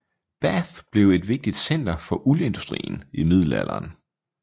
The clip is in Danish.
Bath blev et vigtigt center for uldindustrien i middelalderen